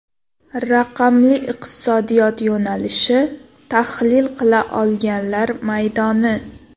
Raqamli iqtisodiyot yo‘nalishi tahlil qila olganlar maydoni.